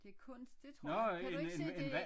Det kunst det tror jeg kan du ikke se det